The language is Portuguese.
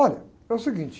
Olha, é o seguinte.